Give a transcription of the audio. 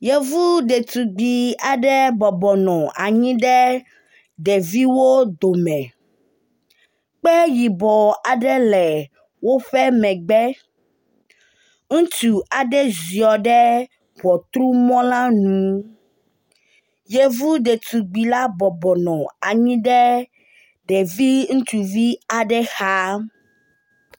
Yevu ɖetugbi aɖe bɔbɔnɔ anyi ɖe ɖeviwo dome. Kpe yibɔ aɖe le woƒe megbe. Ŋutsu aɖe ziɔ ɖe ŋɔtrumɔ la nu. Yevu ɖetugbi la bɔbɔnɔ anyi ɖe ɖevi utsuvi aɖe xa.